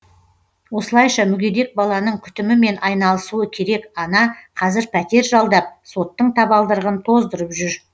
осылайша мүгедек баланың күтімімен айналысуы керек ана қазір пәтер жалдап соттың табалдырығын тоздырып жүр